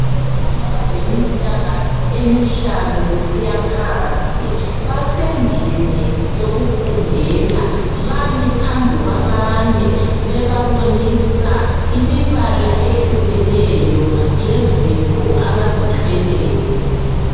Abantwana abasengabaleminyaka emihlanu kusiyaphansi basendlini yokufundela bami phambi kwabanye bebabonisa imibala ehlukeneyo yezinto abazithweleyo.